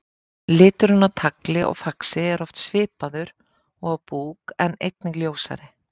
Liturinn á tagli og faxi er oft svipaður og á búk en einnig ljósari.